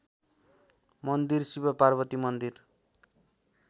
मन्दिर शिवपार्वती मन्दिर